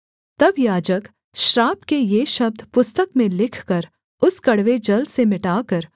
तब याजक श्राप के ये शब्द पुस्तक में लिखकर उस कड़वे जल से मिटाकर